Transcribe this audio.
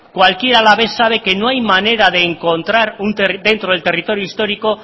cualquier alavés sabe que no hay manera de encontrar dentro del territorio histórico